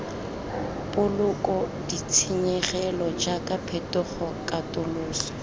boloka ditshenyegelo jaaka phetogo katoloso